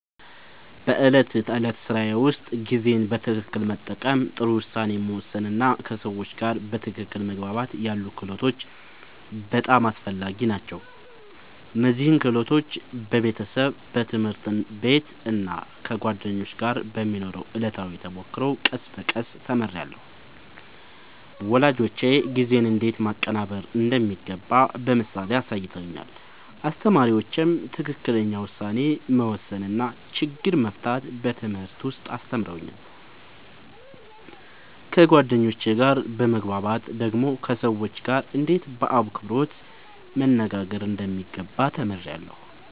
በዕለት ተዕለት ሥራዬ ውስጥ ጊዜን በትክክል መጠቀም፣ ጥሩ ውሳኔ መወሰን እና ከሰዎች ጋር በትክክል መግባባት ያሉ ክህሎቶች በጣም አስፈላጊ ናቸው። እነዚህን ክህሎቶች በቤተሰብ፣ በትምህርት ቤት እና ከጓደኞች ጋር በሚኖረው ዕለታዊ ተሞክሮ ቀስ በቀስ ተምሬያለሁ። ወላጆቼ ጊዜን እንዴት ማቀናበር እንደሚገባ በምሳሌ አሳይተውኛል፣ አስተማሪዎቼም ትክክለኛ ውሳኔ መወሰን እና ችግር መፍታት በትምህርት ውስጥ አስተምረውኛል። ከጓደኞቼ ጋር በመግባባት ደግሞ ከሰዎች ጋርእንዴት በአክብሮት መነጋገር እንደሚገባ ተምሬያለሁ።